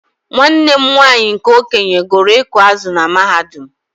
Nwanne m nwanyị nke okenye gụrụ ịkụ azụ̀ na mahadum.